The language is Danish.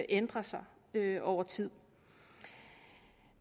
ændrer sig over tid